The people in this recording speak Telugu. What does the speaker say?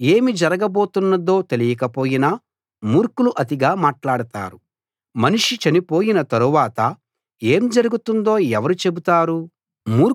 ఏమి జరగబోతున్నదో తెలియకపోయినా మూర్ఖులు అతిగా మాట్లాడతారు మనిషి చనిపోయిన తరవాత ఏం జరుగుతుందో ఎవరు చెబుతారు